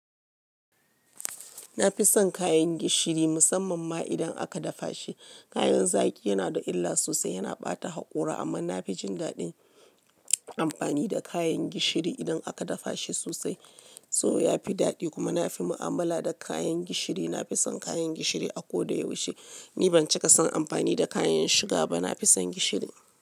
Na fi son kayan gishiri musamman ma idan aka dafa shi. Kayan zaki yana da illa sosai, yana ɓata haƙora, amma na fi jin daɗin amfani da kayan gishiri idan aka dafa shi sosai. Saboda ya fi daɗi kuma na fi mu'amala da kayan gishiri. Na fi son kayan gishiri a ko da yaushe. Ni ban cika son amfani da kayan shuga ba, na fi son gishiri.